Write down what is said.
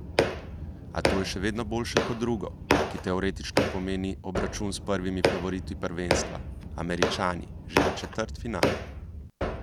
A to je še vedno boljše kot drugo, ki teoretično pomeni obračun s prvimi favoriti prvenstva, Američani, že v četrtfinalu.